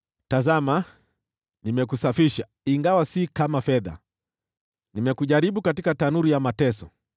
Tazama, nimekusafisha, ingawa si kama fedha, nimekujaribu katika tanuru ya mateso.